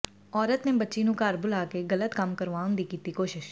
ਔਰਤ ਨੇ ਬੱਚੀ ਨੂੰ ਘਰ ਬੁਲਾ ਕੇ ਗਲਤ ਕੰਮ ਕਰਵਾਉਣ ਦੀ ਕੀਤੀ ਕੋਸ਼ਿਸ਼